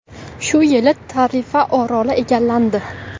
Shu yili Tarifa oroli egallandi.